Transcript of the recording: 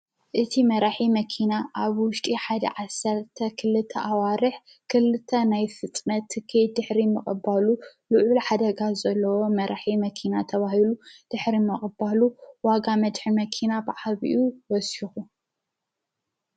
እቲ መራሒ መኪና ኣብ ውሽጢ ሓድ ዓሠርተ ኽልተ ኣዋርሕ ክልተ ናይ ፍጥነ ትኪይ ድኅሪ ምቕባሉ ልዑ ል ኃደጋ ዘለዎ መራሒ መኪና ተብሂሉ ድኅሪ መቕባሉ ዋጋ መድኅሪ መኪና ብዓብኡ ወሲኹ